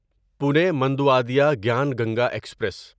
Pune Manduadih Gyan Ganga express